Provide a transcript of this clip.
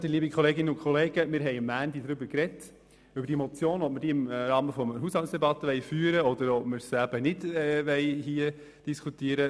Wir haben am Montag darüber gesprochen, ob wir die Debatte zu dieser Motion im Rahmen der Haushaltsdebatte führen wollen oder im Rahmen der Geschäfte der JGK.